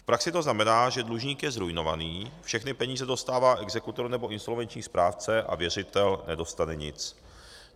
V praxi to znamená, že dlužník je zruinovaný, všechny peníze dostává exekutor nebo insolvenční správce a věřitel nedostane nic.